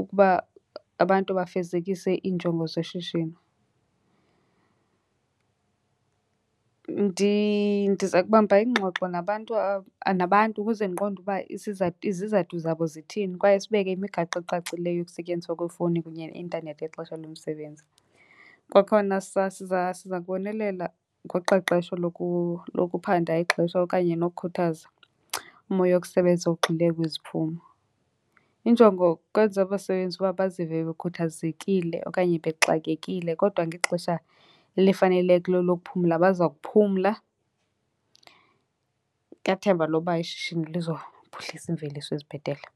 ukuba abantu bafezekise iinjongo zeshishini. Ndiza kubamba iingxoxo nabantu ukuze ndiqonde uba izizathu zabo zithini kwaye sibeke imigaqo ecacileyo yokusetyenziswa kweefowuni kunye neintanethi ngexesha lomsebenzi. Kwakhona siza kubonelela ngoqeqesho lokuphanda ixesha okanye nokukhuthaza umoya wokusebenza ugxile kwiziphumo. Injongo kukwenza abasebenzi uba bazive bekhuthazekile okanye bexakekile kodwa ngexesha elifanelekileyo lokuphumla baza kuphumla. Ngethemba loba ishishini lizophuhlisa iimveliso ezibhetele.